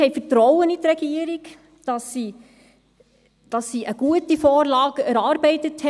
Wir haben Vertrauen in die Regierung, dass sie eine gute Vorlage erarbeitet hat.